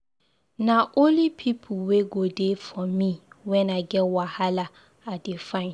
Na only pipu wey go dey for me wen I get wahala I dey find.